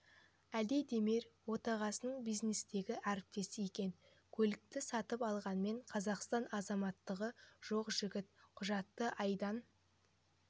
али демир отағасының бизнестегі әріптесі екен көлікті сатып алғанымен қазақстан азаматтығы жоқ жігіт құжатты айдан